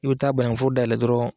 I bɛ taa banangunforo dayɛlɛ dɔrɔn.